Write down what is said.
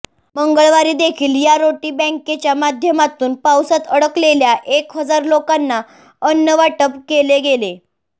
मंगळवारी देखील या रोटी बँकेच्या माध्यमातून पावसात अडकलेल्या एक हजार लोकांना अन्न वाटप केले गेले